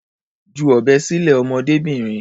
Ju ọ̀bẹ sílẹ̀, ọmọdébìnrin.